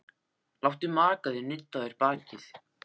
Láttu maka þinn nudda á þér bakið.